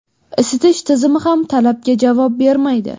Isitish tizimi ham talabga javob bermaydi.